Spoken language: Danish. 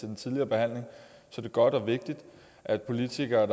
den tidligere behandling er det godt og vigtigt at politikere